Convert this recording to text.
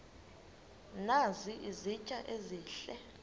nazi izitya ezihle